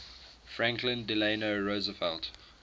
franklin delano roosevelt